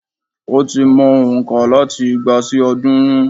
Ó ti mow òǹkà láti igba sí òódúrún